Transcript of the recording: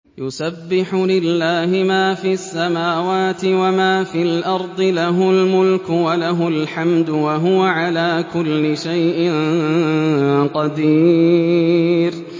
يُسَبِّحُ لِلَّهِ مَا فِي السَّمَاوَاتِ وَمَا فِي الْأَرْضِ ۖ لَهُ الْمُلْكُ وَلَهُ الْحَمْدُ ۖ وَهُوَ عَلَىٰ كُلِّ شَيْءٍ قَدِيرٌ